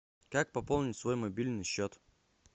как пополнить свой мобильный счет